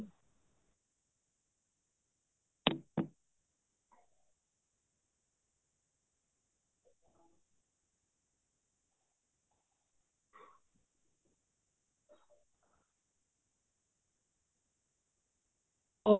ਉਹ